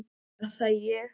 Er það ÉG??